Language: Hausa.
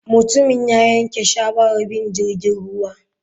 Mutumin ya yanke shawarar bin jirgin ruwa.